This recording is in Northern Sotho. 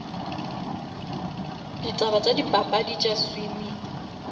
ditaba tša dipapadi tša swimming